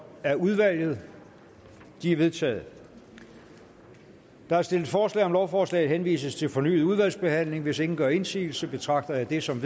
af udvalget de er vedtaget der er stillet forslag om at lovforslaget henvises til fornyet udvalgsbehandling hvis ingen gør indsigelse betragter jeg det som